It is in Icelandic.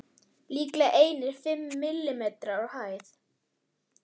Líklega einir fimm millimetrar á hæð.